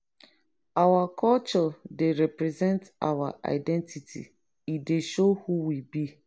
our culture dey represent our identity; e dey show who we be.